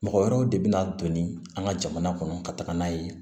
Mɔgɔ wɛrɛw de bɛ na don ni an ka jamana kɔnɔ ka taga n'a ye